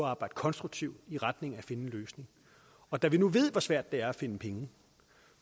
at arbejde konstruktivt i retning af at finde en løsning og da vi nu ved hvor svært det er at finde penge